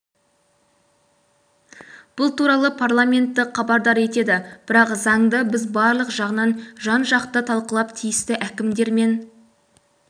бұл туралы парламентті хабардар етеді бірақ заңды біз барлық жағынан жан-жақты талқылап тиісті әкімдер мен